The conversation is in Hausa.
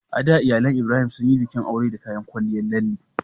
A da, iyalan Ibrahim sun yi bikin aure da kayan kwalliyar lalle